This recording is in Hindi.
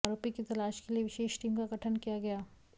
आरोपी की तलाश के लिए विशेष टीम का गठन किया गया